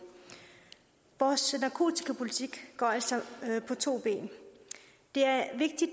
vores narkotikapolitik går altså på to ben det er